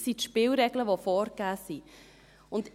Das sind die Spielregeln, die vorgegeben sind.